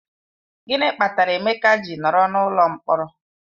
Gịnị kpatara Emeka ji nọrọ n'ụlọ mkpọrọ?